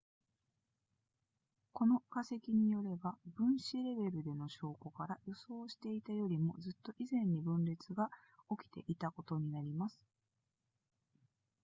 この化石によれば分子レベルでの証拠から予想していたよりもずっと以前に分裂が起きていたことになります